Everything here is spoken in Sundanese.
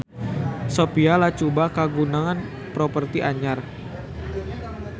Sophia Latjuba kagungan properti anyar